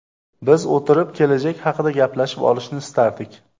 Biz o‘tirib, kelajak haqida gaplashib olishni istardik.